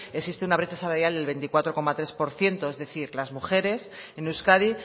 existe una brecha salarial del veinticuatro coma tres por ciento es decir las mujeres en euskadi